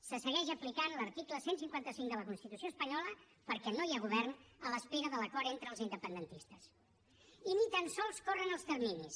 se segueix aplicant l’article cent i cinquanta cinc de la constitució espanyola perquè no hi ha govern a l’espera de l’acord entre els independentistes i ni tan sols corren els terminis